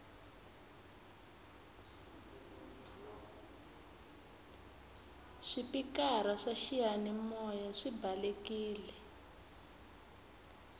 swipikara swa xiyani maya swi balekile